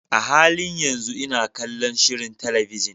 A halin yanzu ina kallon shirin talabijin.